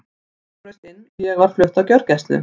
Sonur minn kom og braust inn og ég var flutt á gjörgæslu.